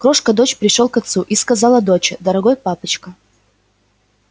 крошка дочь пришёл к отцу и сказала доча дорогой папочка